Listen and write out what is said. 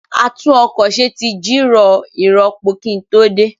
A tún ọkọ̀ ṣe tí jìrọ̀ ìrọpo kí n tó dé